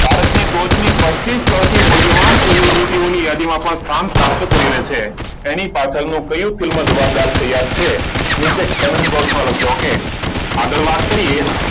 ભારતની ટોચની પચીસ સૌથી મૂલ્યવાન સેલિબ્રિટીઓની યાદીમાં પણ સ્થાન પ્રાપ્ત કરી લે છે. તેની પાછળ કયુ ફિલ્મ જવાબદાર છે યાદ છે? નીચે કોમેન્ટ બોક્સમાં લખજો. okay? આગળ વાત કરીએ,